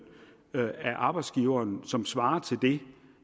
af arbejdsgiveren som svarer til det